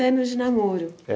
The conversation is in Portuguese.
de namoro? É.